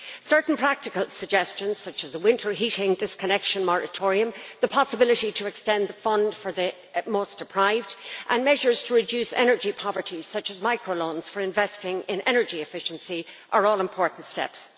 Certain practical suggestions, such as a winter heating disconnection moratorium, the possibility of extending the fund for the most deprived, and measures to reduce energy poverty, such as micro loans for investing in energy efficiency, are all important steps.